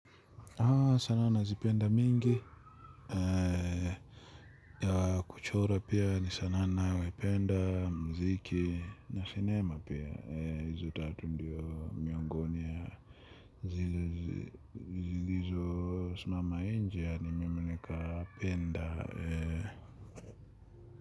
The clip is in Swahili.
Sanaa nazipenda mingi ya kuchora pia ni sanaa ninayoipenda muziki na sinema pia hizi tatu ndio miongoni ya zile zilizo simama nje na mimi nikapenda.